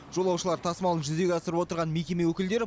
жолаушылар тасымалын жүзеге асырып отырған мекеме өкілдері